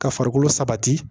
Ka farikolo sabati